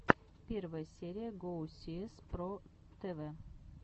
первая серия гоусиэс про тэвэ